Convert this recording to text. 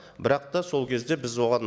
бірақ та сол кезде біз оған